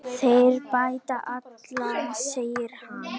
Þeir bæta alla, segir hann.